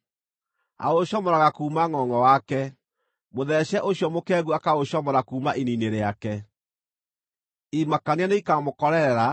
Aũcomoraga kuuma ngʼongʼo wake, mũtheece ũcio mũkengu akaũcomora kuuma ini-inĩ rĩake. Imakania nĩikamũkorerera;